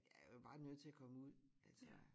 Jeg er jo bare nødt til at komme ud altså